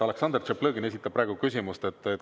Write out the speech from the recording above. Aleksandr Tšaplõgin esitab praegu küsimust.